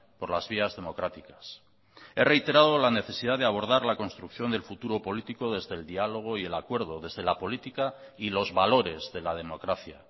por las vías democráticas he reiterado la necesidad de abordar la construcción del futuro político desde el diálogo y el acuerdo desde la política y los valores de la democracia